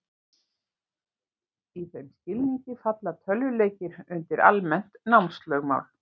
Í þeim skilningi falla tölvuleikir undir almennt námslögmál.